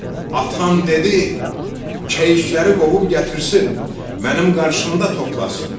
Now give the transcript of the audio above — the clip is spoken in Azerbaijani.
Atam dedi, keyikləri qovub gətirsin, mənim qarşımda toplasın.